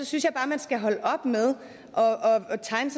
synes jeg bare man skal holde op med at tegne